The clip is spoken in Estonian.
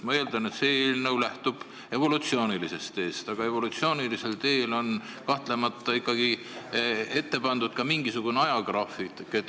Ma eeldan, et see eelnõu lähtub evolutsioonilisest teest, aga evolutsioonilisel teel on kahtlemata ette pandud ka mingisugune ajagraafik.